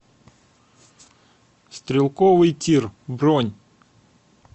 стрелковый тир бронь